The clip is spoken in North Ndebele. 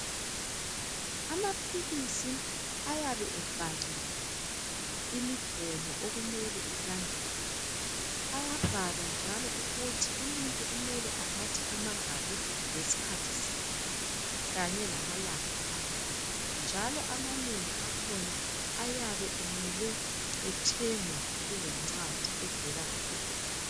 Amaphilisi ayabe ebhaliwe imigomo okumele ilandelwe. Ayabhalwa njalo ukuthi umuntu kumele anathe amangaki ngesikhathi siphi, kanye lamalanga amangaki, njalo amanengi akhona ayabe emele ethengwe kukencwadi evela kudokotela.